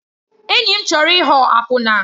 Enyi m chọrọ ịghọ akwụna.